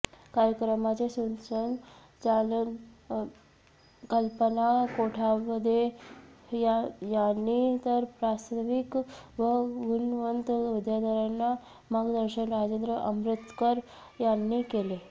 कार्यक्रमाचे सुत्रसंचालन कल्पना कोठावदे यांनी तर प्रास्ताविक व गुणवंत विद्यार्थ्यांना मार्गदर्शन राजेंद्र अमृतकर यांनी केले